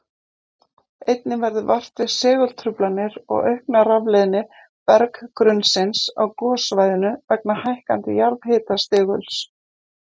Einnig verður vart við segultruflanir og aukna rafleiðni berggrunnsins á gossvæðinu vegna hækkandi jarðhitastiguls.